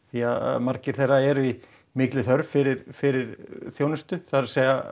því að margir þeirra eru í þörf fyrir fyrir þjónustu það er